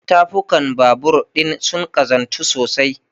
Tafukan babur ɗin sun ƙazantu sosai.